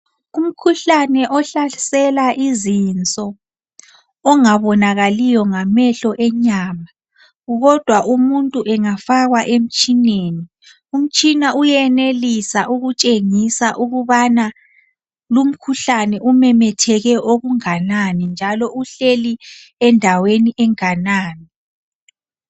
kumkhuhlane ohlasela izinso ongabonakaliyo ngamehlo enyama kodwa umuntu engafakwa emtshineni umtshina uyenelisa ukutshengisa ukubana lukhuhlane umemetheke okunganani njalo uhleli endaweni enganani